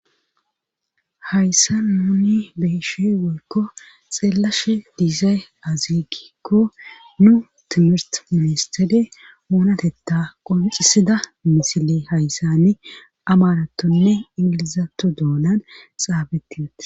Hayssa nuni beeshe woykko xeellashe diisay aziigikko nu timirt ministere oonatetta qomixisida misile hayssa ani amarattonne ingilizato doonan xaabettihate